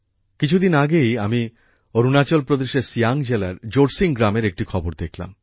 কিছুদিন পূর্বেই আমি অরুণাচল প্রদেশের সিয়াং জেলার জোরসিং গ্রামের একটি খবর দেখলাম